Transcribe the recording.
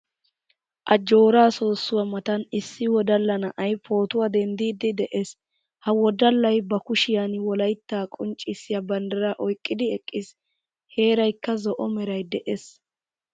Ajjooraa soossuwaa matan issi wodala na'ay pootuwaa denddidi de'ees. Ha wodallay ba kushiyan wolaytta qonccisiya banddiraa oyqqidi eqqiis. Heeraykka zo"o meray de'ees.